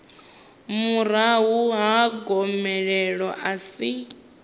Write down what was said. murahu ha gomelelo a si